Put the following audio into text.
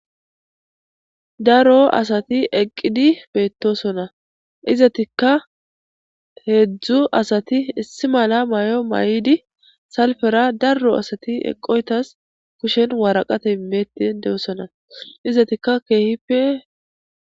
Daro asati eqqidi beetosona. Izetikka heezzu asati issi mala mayo mayidi salfera daro asati eqqidosona. Tasi kushen woraqate imeetin de'osona. Izatikka keehipe